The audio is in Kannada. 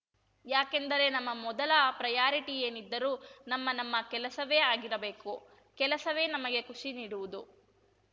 ಯಾಕೆಂದರೆ ನಮ್ಮ ಮೊದಲ ಪ್ರೆಯಾರಿಟಿ ಏನಿದ್ದರೂ ನಮ್ಮ ನಮ್ಮ ಕೆಲಸವೇ ಆಗಿರಬೇಕು ಕೆಲಸವೇ ನಮಗೆ ಖುಷಿ ನೀಡುವುದು